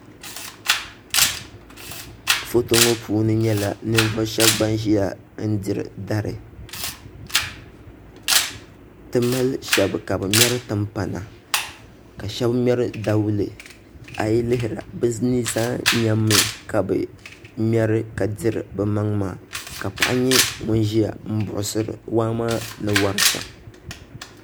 Foto ŋo puuni nyɛla ninvuɣu shab ban ʒiya n diri dari ti mali shab ka bi ŋmɛri timpana ka shab ŋmɛri dawulɛ a yi lihira bi ni zaa nyɛmmi ka bi ŋmɛri ka diri bi maŋ maa ka paɣa nyɛ ŋun ʒiya n buɣusiri waa maa ni wori shɛm